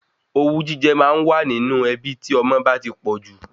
Owú jíjẹ máa wà nínú ẹbí tí ọmọ bá ti pọ̀jù